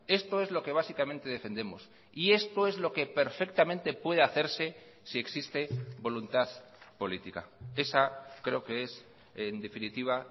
esto es lo que básicamente defendemos y esto es lo que perfectamente puede hacerse si existe voluntad política esa creo que es en definitiva